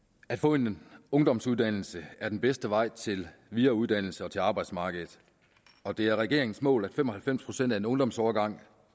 at få en ungdomsuddannelse er den bedste vej til videreuddannelse og til arbejdsmarkedet og det er regeringens mål at mindst fem og halvfems procent af en ungdomsårgang